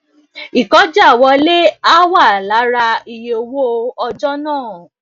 ìkọjàwọlé á wà lára iye owó ọjo náà